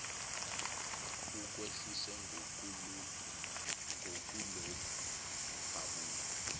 ukwehlise ngokulokhu uhabula